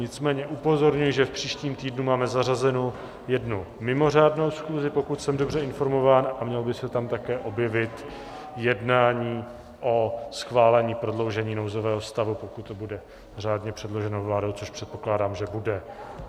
Nicméně upozorňuji, že v příštím týdnu máme zařazenu jednu mimořádnou schůzi, pokud jsem dobře informován, a mělo by se tam také objevit jednání o schválení prodloužení nouzového stavu, pokud to bude řádně předloženo vládou, což předpokládám, že bude.